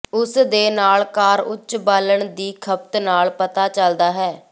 ਇਸ ਦੇ ਨਾਲ ਕਾਰ ਉੱਚ ਬਾਲਣ ਦੀ ਖਪਤ ਨਾਲ ਪਤਾ ਚੱਲਦਾ ਹੈ